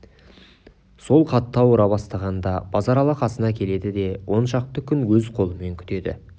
сол қатты ауыра бастағанда базаралы қасына келеді де он шақты күн өз қолымен күтеді